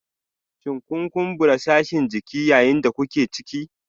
Shin kun kumbura sashin jiki yayin da kuke ciki?